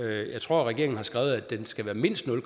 jeg tror at regeringen har skrevet at den skal være mindst nul